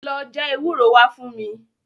Lọ já ewúro wá fún mi.